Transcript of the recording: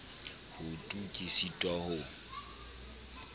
ho tu ke sitwa ho